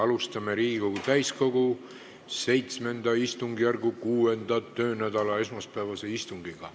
Alustame Riigikogu täiskogu VII istungjärgu 6. töönädala esmaspäevast istungit.